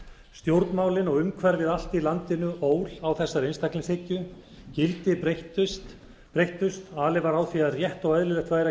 stjórnmálin og umhverfið allt í landinu ól á þessari einstaklingshyggju gildi breyttust alið var á því að rétt væri og eðlilegt væri að